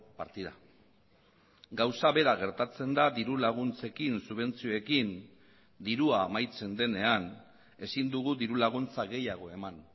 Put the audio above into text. partida gauza bera gertatzen da diru laguntzekin subentzioekin dirua amaitzen denean ezin dugu diru laguntza gehiago eman